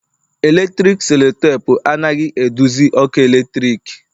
Eletrik selotapu anaghị eduzi ọkụ eletrik